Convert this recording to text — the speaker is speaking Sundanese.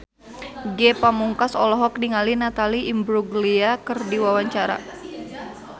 Ge Pamungkas olohok ningali Natalie Imbruglia keur diwawancara